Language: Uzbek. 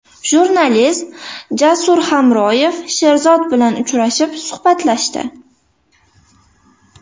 Jurnalist Jasur Hamroyev Sherzod bilan uchrashib, suhbatlashdi .